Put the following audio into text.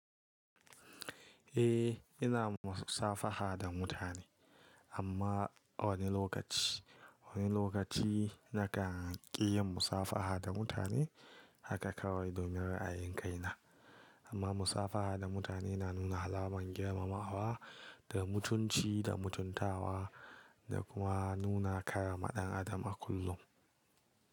Eh ina musafaha da mutane amma wani lokaci, wani lokaci nakan ƙi yin musafaha da mutane haka kawai domin ra'ayin kaina. Amma musafaha da mutane na nuna alamar girmamawa da mutunci da mutuntawa da kuma nuna kara maɗan adam a kullum.